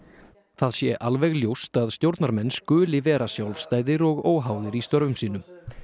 það sé alveg ljóst að stjórnarmenn skuli vera sjálfstæðir og óháðir í störfum sínum